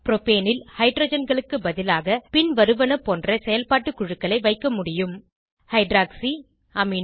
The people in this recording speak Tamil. ப்ரோபேனில் ஹைட்ரஜன்களுக்கு பதிலாக பின்வருவன போன்ற செயல்பாட்டு குழுக்களை வைக்க முடியும் ஹைட்ராக்சி அமினோ